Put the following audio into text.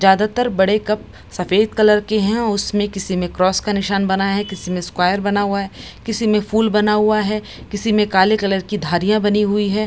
ज्यादातर बड़े कप सफ़ेद कलर के हैं उसमें किसी में क्रॉस का निशान बना है किसी में स्क्वायर बना हुआ है किसी में फूल बना हुआ है किसी में काले कलर की धारिया बनी हुई है।